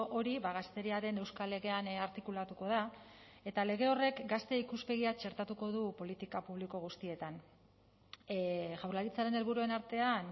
hori gazteriaren euskal legean artikulatuko da eta lege horrek gazte ikuspegia txertatuko du politika publiko guztietan jaurlaritzaren helburuen artean